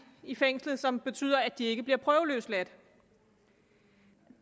i fængslet som betyder at de ikke bliver prøveløsladt